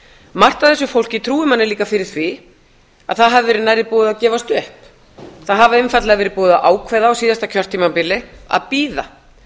margt af þessu fólki trúir manni líka fyrir því að það hafi verið nærri búið að gefast upp það hafi einfaldlega verið búið að ákveða á síðasta kjörtímabili að bíða